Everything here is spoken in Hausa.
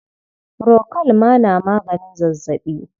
Furokol ma na maganin zazzaɓi.